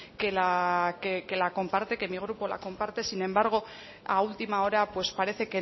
que mi grupo la comparte sin embargo a última hora pues parece